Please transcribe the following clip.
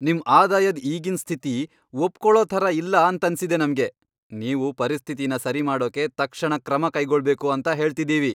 ನಿಮ್ ಆದಾಯದ್ ಈಗಿನ್ ಸ್ಥಿತಿ ಒಪ್ಕೊಳೊ ಥರ ಇಲ್ಲ ಅಂತನ್ಸಿದೆ ನಮ್ಗೆ, ನೀವು ಪರಿಸ್ಥಿತಿನ ಸರಿ ಮಾಡೋಕೆ ತಕ್ಷಣ ಕ್ರಮ ಕೈಗೊಳ್ಬೇಕು ಅಂತ ಹೇಳ್ತಿದೀವಿ.